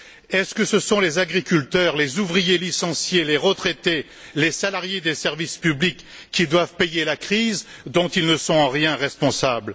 Est ce que ce sont les agriculteurs, les ouvriers licenciés, les retraités, les salariés des services publics qui doivent payer la crise dont ils ne sont en rien responsables?